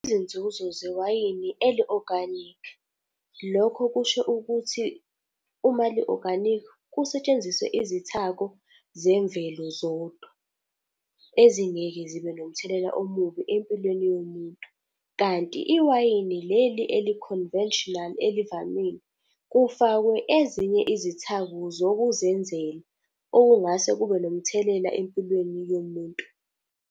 Izinzuzo zewayini eli-organic. Lokho kusho ukuthi uma li-organic, kusetshenziswe izithako zemvelo zodwa. Ezingeke zibe nomthelela omubi empilweni yomuntu. Kanti iwayini leli eli-conventional elivamile, kufakwe ezinye izithako zokuzenzela, okungase kube nomthelela empilweni yomuntu.